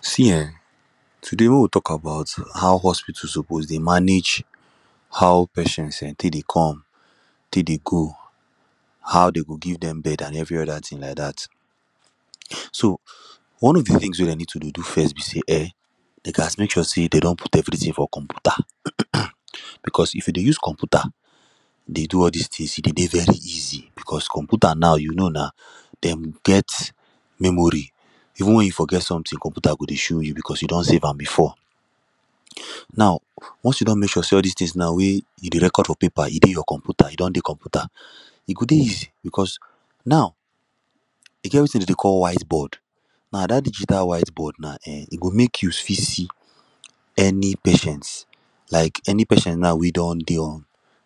See um today make we talk about how hospital suppose dey manage how patient um take dey come take dey go how dey go give dem bed and every other thing like that. So one of the things wey dem dey need to do first be say um dey ghast make sure say dey don put everything for computer because if you dey use computer dey do all this things e dey dey very easy because computer naw you know na dem get memory even when you forget something computer go dey show you because you don save am before now once you don make sure say all this things now wey you dey record for paper e dey your computer, e don dey computer e go dey easy because now e get wetin dem dey call white board now that digital whiteboard now um e go make you fit see any patient like any patient now wey don dey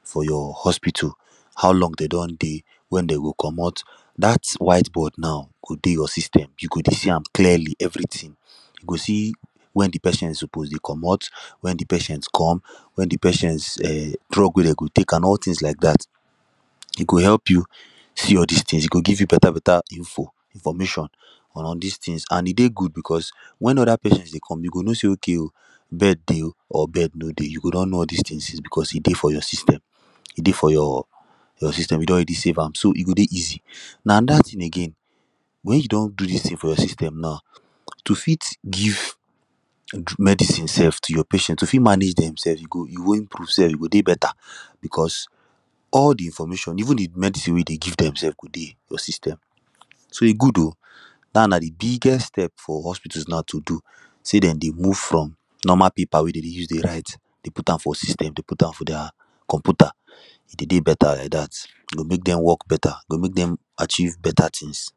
for your hospital how long dey don dey when dem go comot that white board now go dey your system you go dey see am clearly everytin you go see when the person suppose dey comot when the person come when the persons um drug wey dem go dey take and all things like that e go help you see all this things e go give you better beta information on all this things and e dey good because when other persons dey come you go know say okay oh bed dey bed no dey you go don know all this things because e dey for your system e dey for your system you don already save am so e go dey easy now another thing again when you don do these things for your system now to fit give medicine sef to your patient to fit manage demsef go dey beta because all the information even gave medicine sef wey dey give them sef dey your system so e good oo that na the biggest step for hospital naw to do say dem dey move from normal paper wey dem dey use write dey put am for system dey put am for their computer e dey better like that e go make them work better e go make dem achieve better things